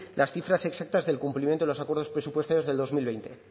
las cifras exactas del cumplimiento de los acuerdos presupuestarios del dos mil veinte